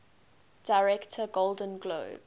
director golden globe